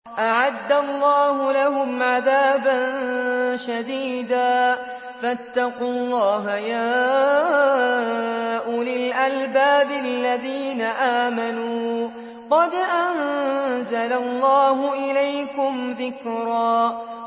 أَعَدَّ اللَّهُ لَهُمْ عَذَابًا شَدِيدًا ۖ فَاتَّقُوا اللَّهَ يَا أُولِي الْأَلْبَابِ الَّذِينَ آمَنُوا ۚ قَدْ أَنزَلَ اللَّهُ إِلَيْكُمْ ذِكْرًا